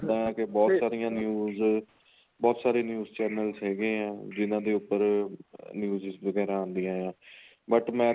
ਦਾ ਇੱਦਾਂ ਕੀ ਬਹੁਤ ਸਾਰੀਆਂ news ਬਹੁਤ ਸਾਰੇ news channel ਹੈਗੇ ਏ ਜਿਹਨਾ ਦੇ ਉੱਪਰ news's ਵਗੈਰਾ ਆਦੀਆਂ ਏ but ਮੈਂ